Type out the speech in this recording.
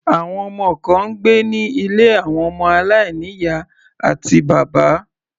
Àwọn ọmọ kan ń gbé ní ilé àwọn ọmọ aláìní ìyá àti bàbá.